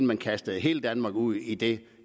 man kastede hele danmark ud i det